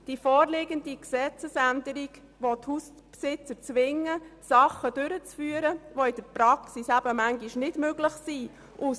Die vorliegende Gesetzesänderung will die Hauseigentümer zwingen, Dinge durchzuführen, die in der Praxis manchmal nicht möglich sind.